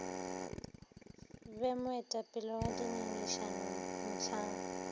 be moetapele wa dingangišano mohlang